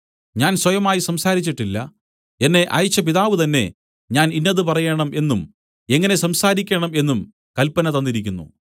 ഞാൻ സ്വയമായി സംസാരിച്ചിട്ടില്ല എന്നെ അയച്ച പിതാവ് തന്നേ ഞാൻ ഇന്നത് പറയേണം എന്നും എങ്ങനെ സംസാരിക്കണം എന്നും കല്പന തന്നിരിക്കുന്നു